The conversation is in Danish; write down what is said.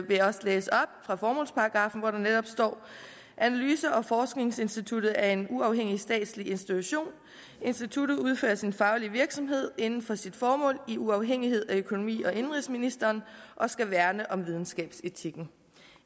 vil jeg også læse op fra formålsparagraffen hvor der netop står analyse og forskningsinstituttet er en uafhængig statslig institution instituttet udfører sin faglige virksomhed inden for sit formål i uafhængighed af økonomi og indenrigsministeren og skal værne om videnskabsetikken